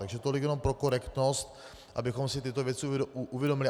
Takže tolik jenom pro korektnost, abychom si tyto věci uvědomili.